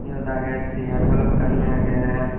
syot agey seyaar balokkani agey.